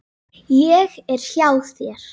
Ég er hjá þér.